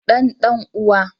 Dan dan uwa.